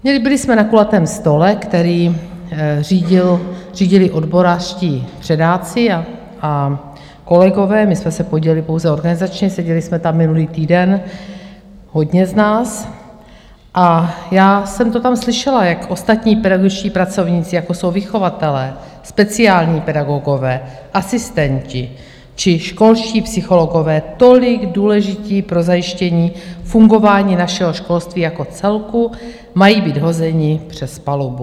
Byli jsme na kulatém stole, který řídili odborářští předáci a kolegové, my jsme se podíleli pouze organizačně, seděli jsme tam minulý týden, hodně z nás, a já jsem to tam slyšela, jak ostatní pedagogičtí pracovníci, jako jsou vychovatelé, speciální pedagogové, asistenti či školští psychologové, tolik důležití pro zajištění fungování našeho školství jako celku, mají být hozeni přes palubu.